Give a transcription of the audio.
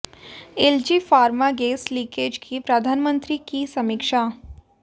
LG Pharma gas leakage की प्रधान मंत्री की समीक्षा